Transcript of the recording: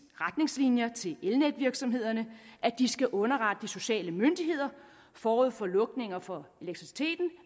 retningslinjer til elnetvirksomhederne at de skal underrette de sociale myndigheder forud for lukninger for elektriciteten